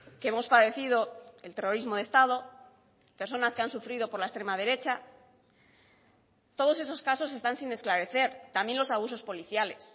que hemos padecido el terrorismo de estado personas que han sufrido por la extrema derecha todos esos casos están sin esclarecer también los abusos policiales